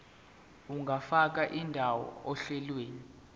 ungafaka indawo ohlelweni